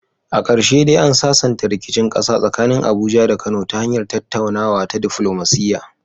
A karshe dai an sasanta rikicin kasa tsakanin Abuja da Kano ta hanyar tattaunawa ta diflomasiya.